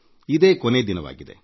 ಇಂದೇ ಕೊನಯ ದಿನವಾಗಿದೆ